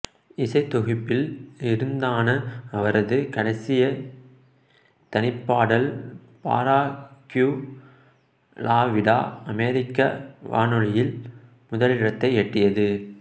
இசைத்தொகுப்பில் இருந்தான அவரது கடைசி தனிப்பாடல் பரா க்யூ லா விடா அமெரிக்க வானொலியில் முதலிடத்தை எட்டியது